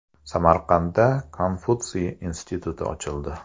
Samarqandda Konfutsiy instituti ochildi.